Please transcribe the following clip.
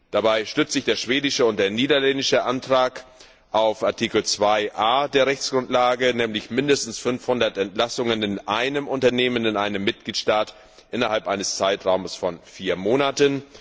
Dabei stützen sich der schwedische und der niederländische Antrag auf Artikel 2a der Rechtsgrundlage, nämlich mindestens 500 Entlassungen in einem Unternehmen in einem Mitgliedstaat innerhalb eines Zeitraums von vier Monaten.